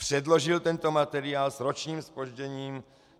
Předložil tento materiál s ročním zpožděním.